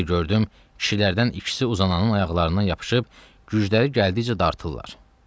Bir də gördüm kişilərdən ikisi uzananın ayaqlarından yapışıb, gücləri gəldikcə dartırlar.